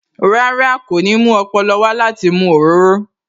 Rárá, kò ní mú ọpọlọ wá láti mu òróró